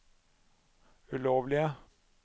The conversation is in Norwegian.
ulovlige